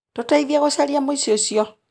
Tũteithie gũcaria mũici ũcio.